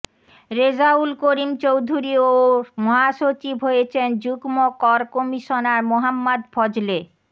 রেজাউল করিম চৌধুরী ও মহাসচিব হয়েছেন যুগ্ম কর কমিশনার মোহাম্মদ ফজলে